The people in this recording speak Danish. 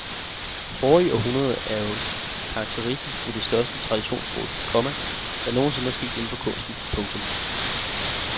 Forrige århundrede er jo karakteristisk ved det største traditionsbrud, komma der nogen sinde er sket inden for kunsten. punktum